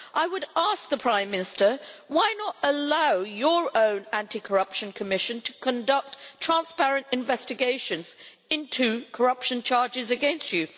I would ask the Prime Minister why not allow your own anti corruption commission to conduct transparent investigations into corruption charges against you?